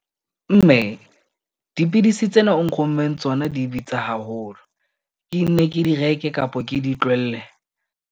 Mme dipidisi tsena o nrommeng tsona di bitsa haholo. Ke nne ke di reke kapo ke di tlohelle?